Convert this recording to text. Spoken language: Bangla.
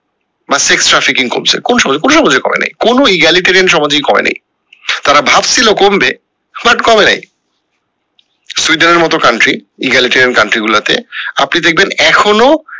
বা কোন সমাজে কোন সমাজে করে নি কোনো সমাজে করেনি তারা ভাবছিলো কমবে but কমে এ নাই সুইডেনের মতো country country গুলা তে আপনি দেখবেন এখনো